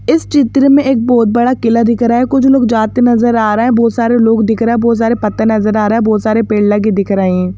इस चित्र में एक बहुत बड़ा किला दिख रहा है कुछ लोग जाते नजर आ रहे हैं बहुत सारे लोग दिख रहे है बहुत सारे पत्ते नजर आ रहे है बहुत सारे पेड़ लगे दिख रहे हैं।